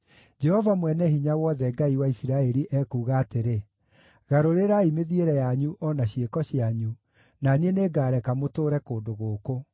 Jehova Mwene-Hinya-Wothe, Ngai wa Isiraeli, ekuuga atĩrĩ: Garũrĩrai mĩthiĩre yanyu o na ciĩko cianyu, na niĩ nĩngareka mũtũũre kũndũ gũkũ.